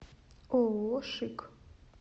ооо шик